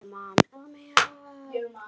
Takk fyrir, Holla.